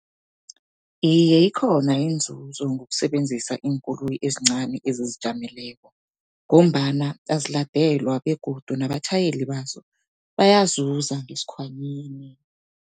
Iye, ikhona inzuzo ngokusebenzisa iinkoloyi ezincani ezizijameleko, ngombana aziladelwa begodu nabatjhayeli bazo bayazuza ngesikhwanyeni.